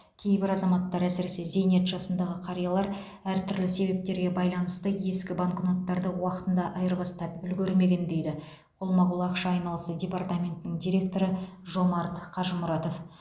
кейбір азаматтар әсіресе зейнет жасындағы қариялар әртүрлі себептерге байланысты ескі банкноттарды уақытында айырбастап үлгермеген дейді қолма қол ақша айналысы департаментінің директоры жомарт қажымұратов